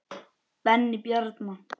Benni Bjarna.